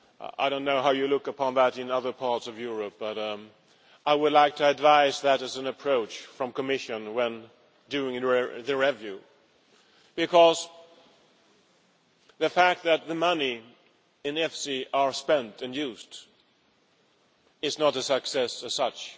I do not know how you look upon that in other parts of Europe, but I would like to advise that as an approach from the Commission during the review, because the fact that the money in EFSI is spent and used is not a success as such.